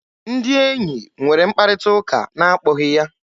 Ndị enyi nwere mkparịta ụka n'akpọghị ya.